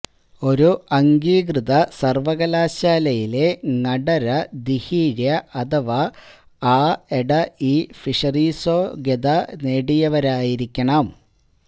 ഒരു അംഗീകൃത സര്വ്വകലാശാലയിലെ ങടര ദീഹീഴ്യ അഥവാ ആഎടഇ ഫിഷറീസ്യോഗ്യത നേടിയവരായിരിക്കണം